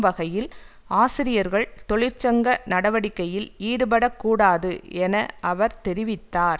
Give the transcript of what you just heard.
வகையில் ஆசிரியர்கள் தொழிற்சங்க நடவடிக்கையில் ஈடுபட கூடாது என அவர் தெரிவித்தார்